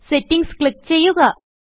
settings click ചെയ്യുക